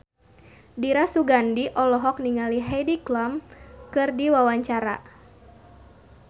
Dira Sugandi olohok ningali Heidi Klum keur diwawancara